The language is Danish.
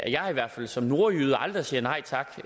jeg i hvert fald som nordjyde aldrig siger nej tak